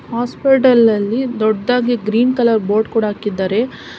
Hospital ಅಲ್ಲಿ ದೊಡ್ಡದಾಗಿ green colour board ಕೂಡ ಹಾಕಿದ್ದಾರೆ.